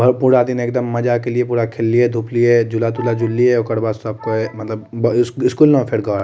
भर पूरा दिन एकदम मजा के लिए पूरा खेल्लिए धुपलिये झूला-तुला झूल्लिए ओकर बाद सब क मतलब ब इस स्कूल ना फिर घर।